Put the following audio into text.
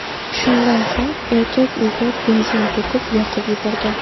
Shundan so‘ng erkak uyga benzin to‘kib, yoqib yuborgan.